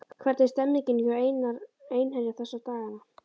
Hvernig er stemningin hjá Einherja þessa dagana?